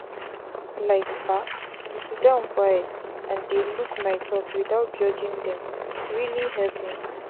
like bah to siddon quiet and dey look my thoughts without judging dem really help me.